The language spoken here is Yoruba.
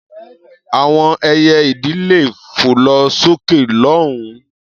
Àwọn ẹyẹ-idì lè fò lọ sókè lọ́hùn-ún.